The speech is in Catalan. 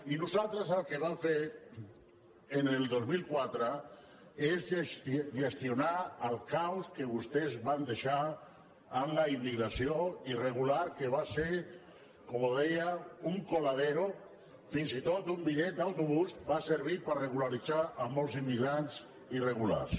i nosaltres el que vam fer el dos mil quatre és gestionar el caos que vostès van deixar amb la im·migració irregular que va ser com deia un coladero fins i tot un bitllet d’autobús va servir per regularitzar molts immigrants irregulars